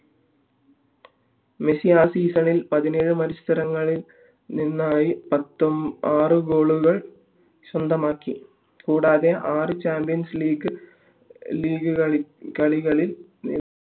Messi ആ season ഇത് പതിനേഴു മത്സരങ്ങളിൽ നിന്നായി ആറ് goal സ്വന്തമാക്കി കൂടാതെ ആറു ചാമ്പ്യൻസ് ലീഗ് കളികളിൽ